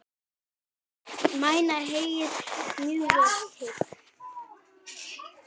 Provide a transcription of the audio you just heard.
Mæna heyið mjög vel hygg.